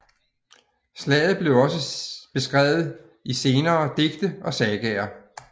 Slaget blev også beskrevet i senere digte og sagaer